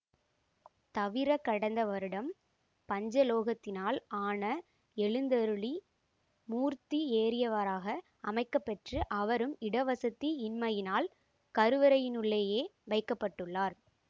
தவிர கடந்த வருடம் பஞ்சலோகத்தினால் ஆன எழுந்தருளி மூர்த்தி ஏறியவராக அமைக்கப்பெற்று அவரும் இடவசதி இன்மையினால் கருவறையினுள்ளேயே வைக்க பட்டுள்ளார்